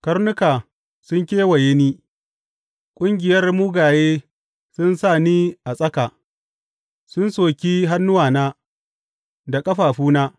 Karnuka sun kewaye ni; ƙungiyar mugaye sun sa ni a tsaka, sun soki hannuwana da ƙafafuna.